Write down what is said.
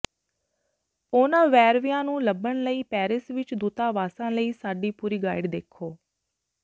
ਉਹਨਾਂ ਵੇਰਵਿਆਂ ਨੂੰ ਲੱਭਣ ਲਈ ਪੈਰਿਸ ਵਿੱਚ ਦੂਤਾਵਾਸਾਂ ਲਈ ਸਾਡੀ ਪੂਰੀ ਗਾਈਡ ਦੇਖੋ